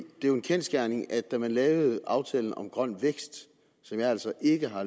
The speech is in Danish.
jo en kendsgerning at da man lavede aftalen om grøn vækst som jeg altså ikke har